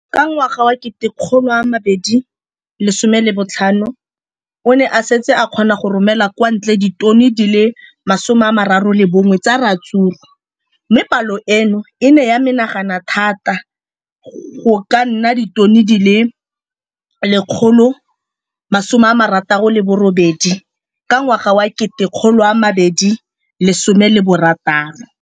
Ka ngwaga wa 2015, o ne a setse a kgona go romela kwa ntle ditone di le 31 tsa ratsuru mme palo eno e ne ya menagana thata go ka nna ditone di le 168 ka ngwaga wa 2016.